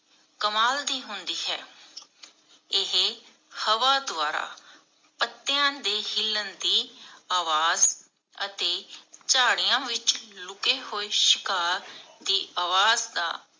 ਕਮਾਲ ਦੀ ਹੁੰਦੀ ਹੈ ਇਹ ਹਵਾ ਦਵਾਰਾ ਪੱਟਿਆ ਦੀ ਹਿੱਲਣ ਦੀ ਅਵਾਜ ਅਤੇ ਝਾੜੀਆਂ ਵਿਚ ਲੂਕਾ ਹੂਏ ਸ਼ਿਕਾਰ ਦੀ ਅਵਾਜ ਦਾ